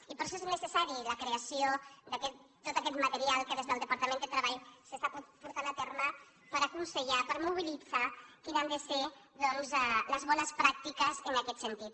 i per això és necessària la creació de tot aquest material que des del departament de treball s’està portant a terme per aconsellar per mobilitzar quines han de ser doncs les bones pràctiques en aquest sentit